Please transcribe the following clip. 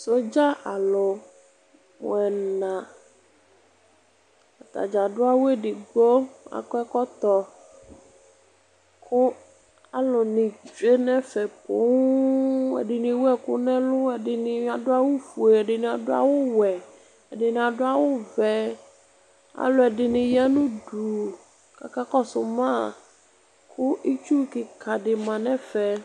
Sɔdza alu mu ɛna atadza adu awu edigbo akɔ ɛkɔtɔ ku aluni tsue nɛvɛ poo ɛdini ewu ɛku nu ɛlu ɛdini adu awu ofue ɛdini adu awu wɛ ɛdini adu awu vɛ aluɛdini ya nu udu kakakɔsu ma ku itsu kika di ma nɛfɛ